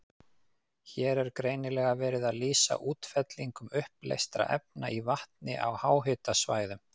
Hér er greinilega verið að lýsa útfellingum uppleystra efna í vatni á háhitasvæðum.